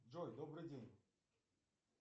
джой добрый день